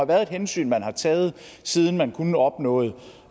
været et hensyn man har taget siden man kun opnåede